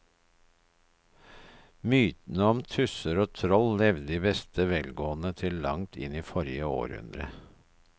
Mytene om tusser og troll levde i beste velgående til langt inn i forrige århundre.